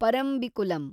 Parambikulam